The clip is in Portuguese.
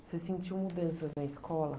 Você sentiu mudanças na escola?